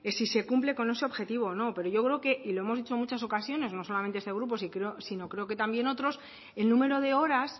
si se cumple con ese objetivo o no pero yo creo que y lo hemos dicho en muchas ocasiones no solamente este grupo sino creo que también otros el número de horas